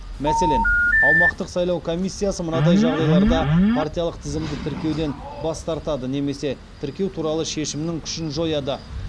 мәселен аумақтық сайлау комиссиясы мынадай жағдайларда партиялық тізімді тіркеуден бас тартады немесе тіркеу туралы шешімнің күшін жояды